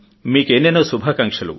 మీకు ఎన్నెన్నో శుభాకాంక్షలు